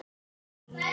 Annars er allt hljótt.